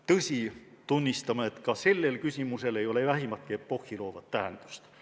Tõsi, tunnistan, et ka sellel küsimusel ei ole vähimatki epohhi loovat tähendust.